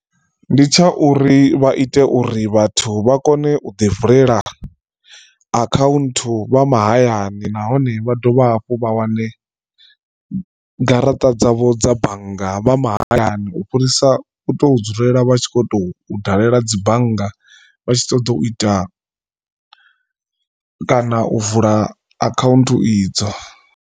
Ndi tsha uri vha ite uri vhathu vha kone u ḓi vulela akhaunthu vha mahayani nahone vha dovha hafhu vha wane garaṱa dzavho dza bannga vha mahayani u fhirisa u to dzulela vha tshi kho to dalela dzi bannga vha tshi ṱoḓa u ita kana u vula akhaunthu idzo.